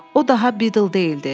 O daha Bidl deyildi.